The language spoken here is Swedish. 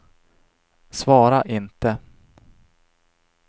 svara inte